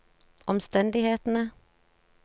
omstendighetene